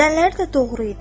Zənləri də doğru idi.